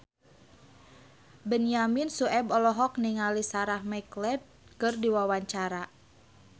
Benyamin Sueb olohok ningali Sarah McLeod keur diwawancara